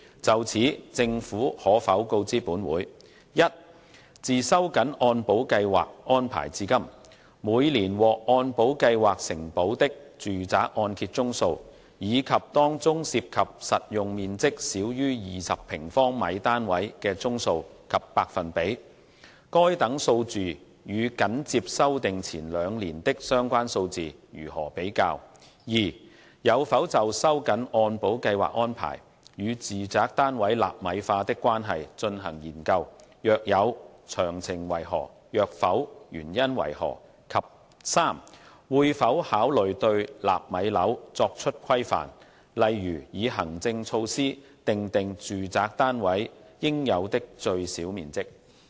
就此，政府可否告知本會：一自收緊按保計劃安排至今，每年獲按保計劃承保的住宅按揭宗數，以及當中涉及實用面積少於20平方米單位的宗數及百分比；該等數字與緊接修訂前兩年的相關數字如何比較；二有否就收緊按保計劃安排與住宅單位納米化的關係進行研究；若有，詳情為何；若否，原因為何；及三會否考慮對"納米樓"作出規範，例如以行政措施訂定住宅單位應有的最小面積？